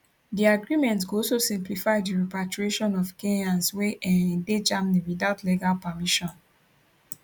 di agreement go also simplify di repatriation of kenyans wey um dey germany without legal permission